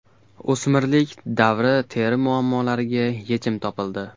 O‘smirlik davri teri muammolariga yechim topildi.